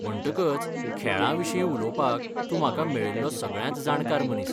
म्हणटकच, खेळां विशीं उलोवपाक, तूं म्हाका मेळिल्लो सगळ्यांत जाणकार मनीस.